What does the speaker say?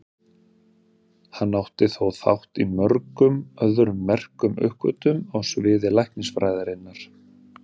Hann átti þó þátt í mörgum öðrum merkum uppgötvunum á sviði læknisfræðinnar.